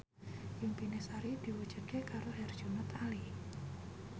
impine Sari diwujudke karo Herjunot Ali